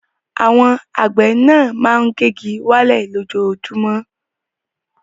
Àwọn àgbẹ̀ náà máa ń gé igi wálẹ̀ lójoojúmọ́.